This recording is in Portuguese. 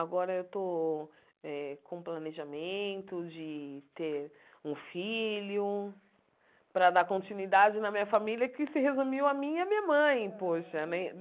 Agora eu estou eh com o planejamento de ter um filho para dar continuidade na minha família, que se resumiu a mim e a minha mãe. Poxa né